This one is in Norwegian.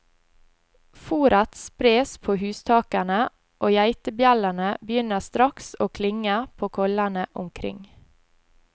Fóret spres på hustakene, og geitebjellene begynner straks å klinge på kollene omkring.